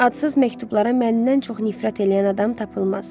Adsız məktublara məndən çox nifrət eləyən adam tapılmaz.